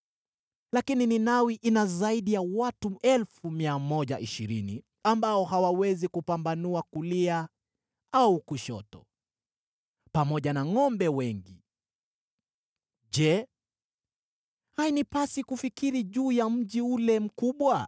Lakini Ninawi ina zaidi ya watu 120,000 ambao hawawezi kupambanua kulia au kushoto, pamoja na ngʼombe wengi. Je, hainipasi kufikiri juu ya mji ule mkubwa?”